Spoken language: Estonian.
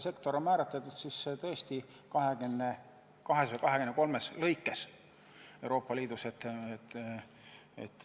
Sektor on määratletud tõesti nii, et 23 sektorit on Euroopa Liidus.